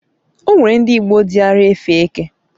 o nwere ndi igbo diara efe eke